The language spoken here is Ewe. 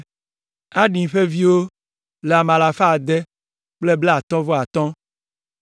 Adin ƒe viwo le ame alafa ade kple blaatɔ̃ vɔ atɔ̃ (655).